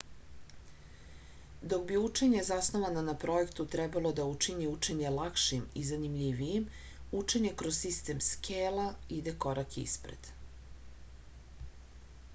dok bi učenje zasnovano na projektu trebalo da učini učenje lakšim i zanimljivijim učenje kroz sistem skela ide korak ispred